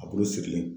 A bulu sigilen